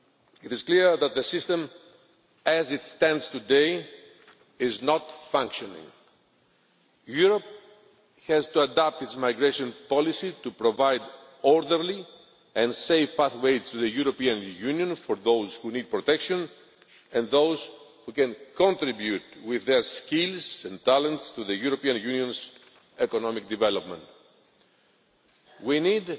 It is clear that the asylum system as it stands today is not functioning. Europe has to adapt its migration policy to provide orderly and safe pathways to the European Union for those who need protection and those who can contribute with their skills and talents to the European Union's economic development. We